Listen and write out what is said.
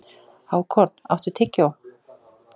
Hákon, áttu tyggjó?